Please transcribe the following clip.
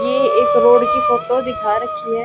ये एक रोड की फोटो दिखा रखी है।